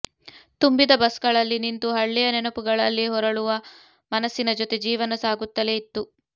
ತುಂಬಿದ ಬಸ್ ಗಳಲ್ಲಿ ನಿಂತು ಹಳ್ಳಿಯ ನೆನಪುಗಳಲ್ಲಿ ಹೊರಳುವ ಮನಸ್ಸಿನ ಜೊತೆ ಜೀವನ ಸಾಗುತ್ತಲೇ ಇತ್ತು